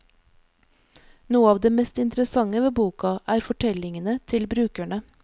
Noe av det mest interessante ved boka, er fortellingene til brukerne.